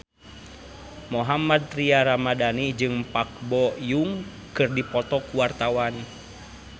Mohammad Tria Ramadhani jeung Park Bo Yung keur dipoto ku wartawan